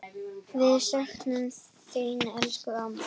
Við söknum þín, elsku amma.